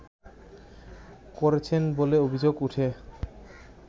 করেছেন বলে অভিযোগ উঠে